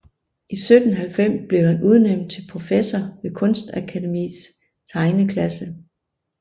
I 1790 blev han udnævnt til professor ved kunstakademis tegneklasse